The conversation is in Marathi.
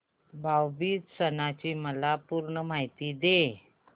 भाऊ बीज सणाची मला पूर्ण माहिती दे